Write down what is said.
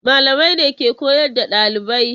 Malamai ne ke koyar da ɗalibai.